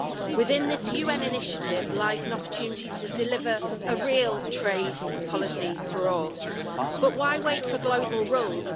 Within this UN initiative lies an opportunity to deliver a real trade policy for all, but why wait for global rules?